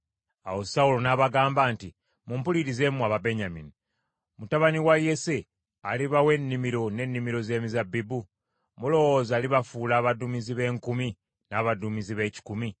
Awo Sawulo n’abagamba nti, “Mumpulirize mmwe Ababenyamini. Mutabani wa Yese alibawa ennimiro n’ennimiro ez’emizabbibu? Mulowooza alibafuula abaduumizi b’enkumi n’abaduumizi b’ekikumi?